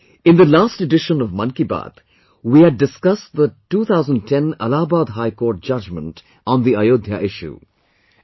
Friends, in the last edition of Man Ki Baat, we had discussed the 2010 Allahabad High Court Judgment on the Ayodhya issue